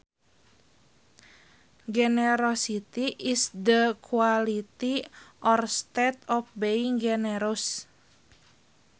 Generosity is the quality or state of being generous